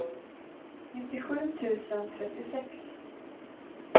nittiosju tusen trettiosex